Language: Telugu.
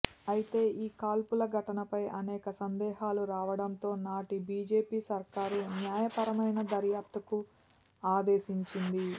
అయితే ఈ కాల్పుల ఘటనపై అనేక సందేహాలు రావడంతో నాటి బీజేపీ సర్కారు న్యాయపరమైన దర్యాప్తుకు ఆదేశించింది